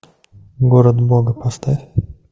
город бога поставь